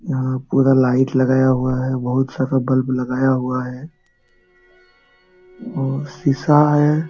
यहां पूरा लाइट लगाया हुआ है बहुत सारा बल्ब लगाया हुआ है वो शीशा है।